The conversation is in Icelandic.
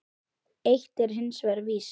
Eitt er hins vegar víst.